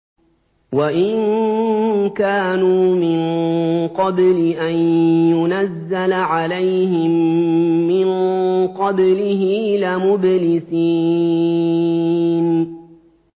وَإِن كَانُوا مِن قَبْلِ أَن يُنَزَّلَ عَلَيْهِم مِّن قَبْلِهِ لَمُبْلِسِينَ